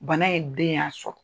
Bana in den y'a sɔrɔ